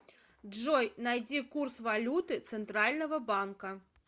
джой найди курс валюты центрального банка